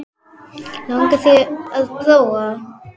Langar þig til að prófa?